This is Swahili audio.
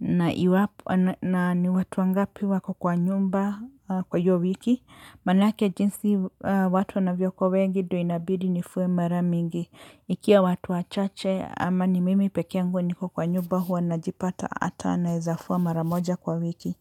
na iwapo na ni watu wangapi waka kwa nyumba kwa hiyo wiki. Manake jinsi watu wanavyokuwa wengi ndo inabidi nifue mara mingi. Ikiwa watu wachache ama ni mimi pekee nguo niko kwa nyumba huwa najipata hata naeza fua mara moja kwa wiki.